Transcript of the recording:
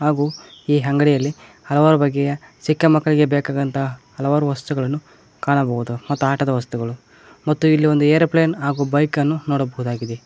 ಹಾಗು ಈ ಅಂಗಡಿಯಲ್ಲಿ ಹಲವಾರು ಬಗೆಯ ಚಿಕ್ಕ ಮಕ್ಕಳಿಗೆ ಬೇಕಾಗಂತ ಹಲವಾರು ವಸ್ತುಗಳನ್ನು ಕಾಣಬಹುದು ಮತ್ತು ಆಟದ ವಸ್ತುಗಳು ಮತ್ತು ಇಲ್ಲಿ ಒಂದು ಏರೋಪ್ಲೇನ್ ಹಾಗು ಬೈಕನ್ನು ನೋಡಬಹುದಾಗಿದೆ.